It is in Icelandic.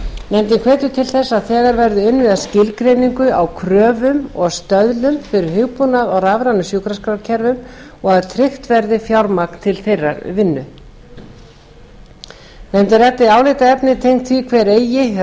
nefndin hvetur til þess að þegar verði unnið að skilgreiningu á kröfum og stöðlum fyrir hugbúnað á rafrænum sjúkraskrárkerfum og að tryggt verði fjármagn til þeirrar vinnu nefndin ræddi álitaefni tengd því hver eigi